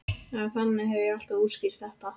Eða þannig hef ég alltaf útskýrt þetta.